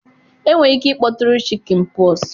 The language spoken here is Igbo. enwere ike ịkpọtụrụ chickenpox.